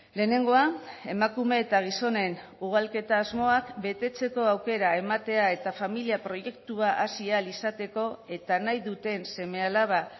lehenengoa emakume eta gizonen ugalketa asmoak betetzeko aukera ematea eta familia proiektua hasi ahal izateko eta nahi duten seme alaba